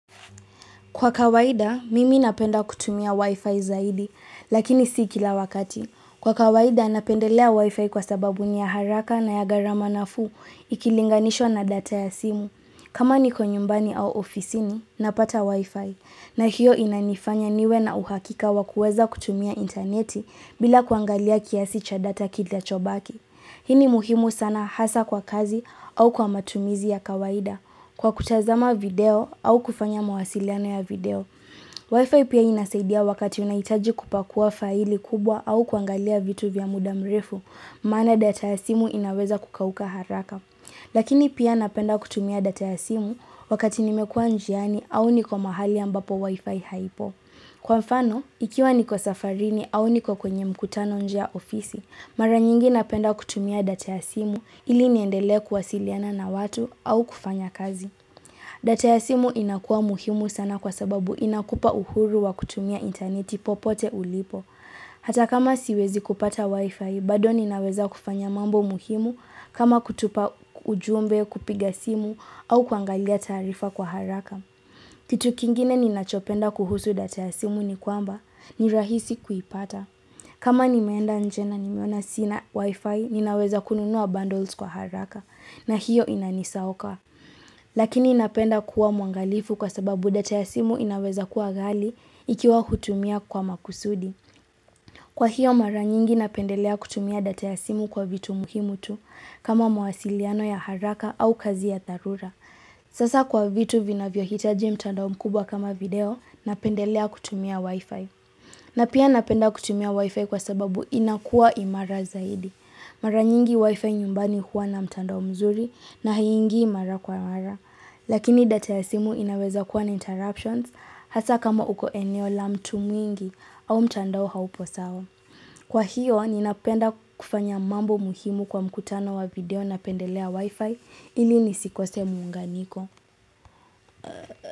Kwa kawaida, mimi napenda kutumia wifi zaidi, lakini si kila wakati. Kwa kawaida, napendelea wi-fi kwa sababu ni ya haraka na ya gharama nafuu, ikilinganishwa na data ya simu. Kama niko nyumbani au ofisini, napata wi-fi. Na hiyo inanifanya niwe na uhakika wakuweza kutumia interneti bila kuangalia kiasi cha data kinachobaki. Hii ni muhimu sana hasa kwa kazi au kwa matumizi ya kawaida. Kwa kutazama video au kufanya mawasiliano ya video Wi-Fi pia inasaidia wakati unaitaji kupakua faili kubwa au kuangalia vitu vya muda mrefu Maana data ya simu inaweza kukauka haraka Lakini pia napenda kutumia data ya simu wakati nimekua njiani au niko mahali ambapo Wi-Fi haipo Kwa mfano, ikiwa niko safarini au niko kwenye mkutano nje ya ofisi Mara nyingi napenda kutumia data ya simu ili niendelee kwasiliana na watu au kufanya kazi. Data ya simu inakua muhimu sana kwa sababu inakupa uhuru wa kutumia interneti popote ulipo. Hata kama siwezi kupata wifi, bado ninaweza kufanya mambo muhimu kama kutupa ujumbe kupiga simu au kuangalia tarifa kwa haraka. Kitu kingine ninachopenda kuhusu data ya simu ni kwamba ni rahisi kuipata. Kama nimeenda njena nimeona sina wifi, ninaweza kununuwa bundles kwa haraka na hiyo inanisaoka. Lakini napenda kuwa mwangalifu kwa sababu data ya simu inaweza kuwa ghali ikiwa hutumia kwa makusudi. Kwa hiyo mara nyingi napendelea kutumia data ya simu kwa vitu muhimu tu kama mwasiliano ya haraka au kazi ya dharura. Sasa kwa vitu vinavyohitaji mtandao mkubwa kama video, napendelea kutumia wifi. Na pia napenda kutumia wifi kwa sababu inakuwa imara zaidi. Mara nyingi wifi nyumbani huwa na mtandao mzuri na haingii imara kwa imara. Lakini data ya simu inaweza kuwa na interruptions hasa kama uko eneo la mtu mwingi au mtandao haupo sawa. Kwa hiyo, ninapenda kufanya mambo muhimu kwa mkutano wa video na pendelea wifi ili nisikose muunganiko.